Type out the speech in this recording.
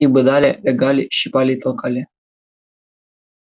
их бодали лягали щипали и толкали